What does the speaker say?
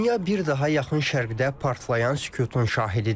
Dünya bir daha yaxın şərqdə partlayan sükutun şahididir.